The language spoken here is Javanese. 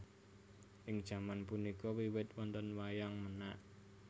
Ing jaman punika wiwit wonten Wayang Menak